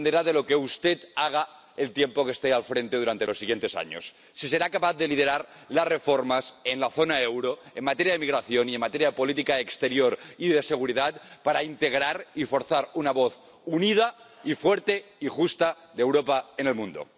Dependerá de lo que usted haga en el tiempo en que esté al frente durante los siguientes años, si será capaz de liderar las reformas en la zona euro en materia de migración y en materia de política exterior y de seguridad para integrar y forzar una voz unida y fuerte y justa de Europa en el mundo.